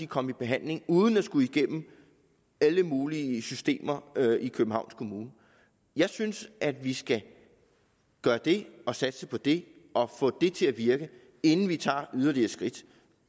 komme i behandling uden at skulle igennem alle mulige systemer i københavns kommune jeg synes at vi skal gøre det og satse på det og få det til at virke inden vi tager yderligere skridt